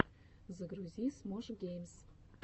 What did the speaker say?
загрузи смош геймс